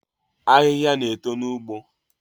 Ahịhịa na-eto n’ugbo